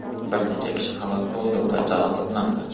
Bir necha kishi halok bo‘ldi va jarohatlandi.